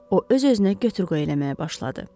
O öz-özünə götür-qoy eləməyə başladı.